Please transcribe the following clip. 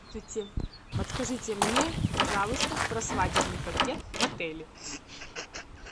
подскажите мне пожалуйста про свадебный пакет в отеле